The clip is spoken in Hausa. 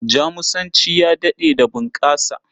Jamusanci ya daɗe da bunƙasa.